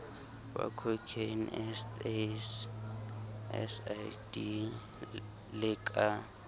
bococaine ecstasy lsd le ka